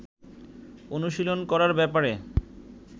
অনুশীলন করার ব্যাপারে